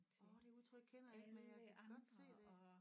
Åh det udtryk kender jeg ikke men jeg kan godt se det